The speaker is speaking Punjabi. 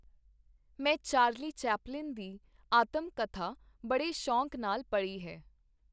ਮੈਂ ਚਾਰਲੀ ਚੈਪਲਿਨ ਦੀ ਆਤਮ-ਕਥਾ ਬੜੇ ਸ਼ੌਕ ਨਾਲ ਪੜ੍ਹੀ ਹੈ.